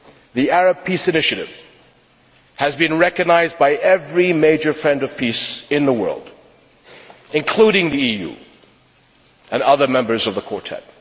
The Arab Peace Initiative has been recognised by every major friend of peace in the world, including the EU and other members of the Quartet.